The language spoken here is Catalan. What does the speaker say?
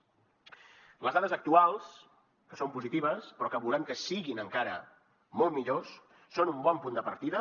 les dades actuals que són positives però que volem que siguin encara molt millors són un bon punt de partida